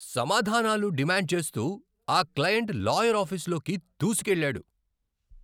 సమాధానాలు డిమాండ్ చేస్తూ ఆ క్లయింట్ లాయర్ ఆఫీసులోకి దూసుకెళ్లాడు!